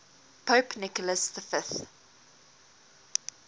pope nicholas v